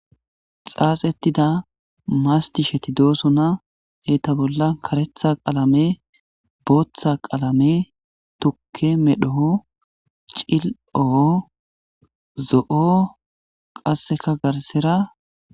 xaaxettida mastisheti doosona eeta bolla karetha qaalame booththa qaalame tukke medhoo cil7o zo7o qasseka garsera